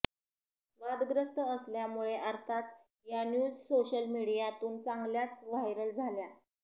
वादग्रस्त असल्यामुळे अर्थाच या न्यूज सोशल मीडियातून चांगल्याच व्हायरल झाल्या